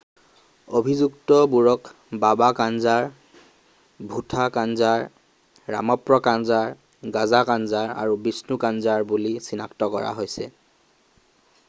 অভিযুক্তবোৰক বাবা কানজাৰ ভুঠা কানজাৰ, ৰামপ্ৰ কানজাৰ গাজা কানজাৰ আৰু বিষ্ণু কানজাৰ বুলি চিনাক্ত কৰা হৈছে।